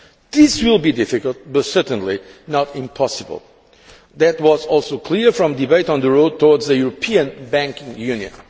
This will be difficult but certainly not impossible. That was also clear from the debate on the road towards a European banking union.